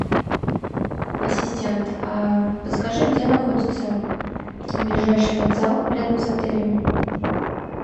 ассистент подскажи где находится ближайший вокзал рядом с отелем